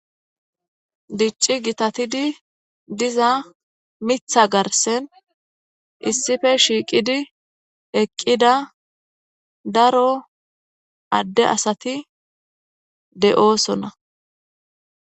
Dicci gitatidi diza miththa garssen issippe shiiqidi eqidda daro adde asati de7oosona.